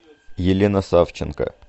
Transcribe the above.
елена савченко